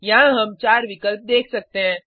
यहाँ हम चार विकल्प देख सकते हैं